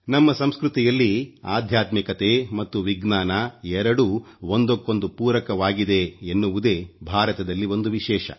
ನಮ್ಮ ಸಂಸ್ಕೃತಿಯಲ್ಲಿ ಅಧ್ಯಾತ್ಮಿಕತೆ ಮತ್ತು ವಿಜ್ಞಾನ ಎರಡೂ ಒಂದಕ್ಕೊಂದು ಪೂರಕವಾಗಿದೆ ಎನ್ನುವುದೇ ಭಾರತದಲ್ಲಿ ಒಂದು ವಿಶೇಷ